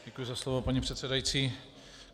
Děkuji za slovo, paní předsedající.